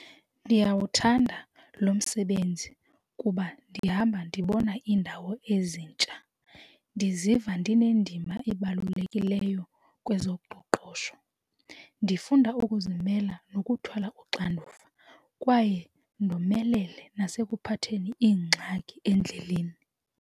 Ndiyawuthanda lo msebenzi kuba ndihamba ndibona iindawo ezintsha. Ndiziva ndinendima ebalulekileyo kwezoqoqosho ndifunda ukuzimela nokuthwala uxanduva, kwaye ndomelele nasekuphatheni iingxaki endleleni.